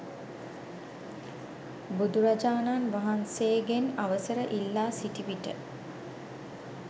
බුදුරජාණන් වහන්සේගෙන් අවසර ඉල්ලා සිටි විට